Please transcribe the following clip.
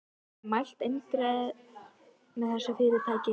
Hún hafði mælt eindregið með þessu fyrirtæki.